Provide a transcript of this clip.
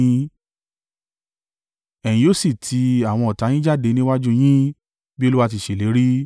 Ẹ̀yin yóò sì ti àwọn ọ̀tá yín jáde níwájú u yín bí Olúwa ti ṣèlérí.